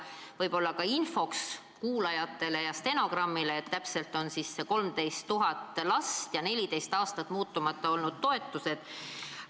Võib-olla infoks kuulajatele, et see tähendab 13 000 last ja 14 aastat muutmata olnud toetuseid.